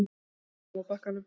Hann kom fram á bakkann.